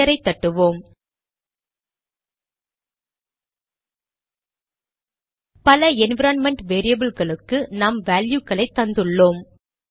என்டரை தட்டுவோம் பல என்விரான்மென்ட் வேரியபில்களுக்கு நாம் வேல்யுகளை தந்துள்ளோம்